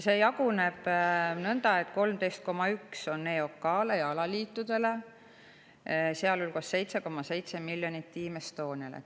See jaguneb nõnda, et 13,1 miljonit läheb EOK‑le ja alaliitudele, sealhulgas 7,7 miljonit Team Estoniale.